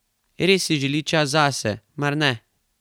Res si želi čas zase, mar ne?